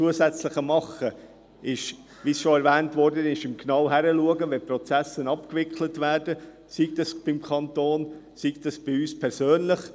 – Zusätzlich kann man, wie bereits gesagt wurde, genau hinschauen, wenn Prozesse abgewickelt werden, sei das beim Kanton, sei das bei uns persönlich.